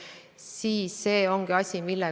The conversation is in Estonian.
Praegu, sellel aastal on meil kasutada 20 miljonit.